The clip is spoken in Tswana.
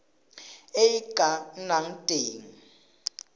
e e ka nnang teng